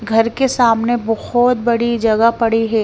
घर के सामने बहुत बड़ी जगह पड़ी है।